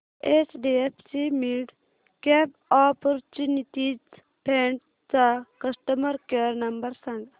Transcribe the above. HDFC midcap opportunities fund चा customer care number सांग